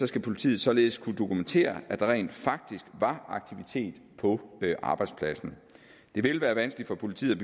skal politiet således kunne dokumentere at der rent faktisk var aktivitet på arbejdspladsen det vil være vanskeligt for politiet